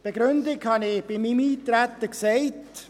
Die Begründung habe ich in meinem Eintretensvotum genannt.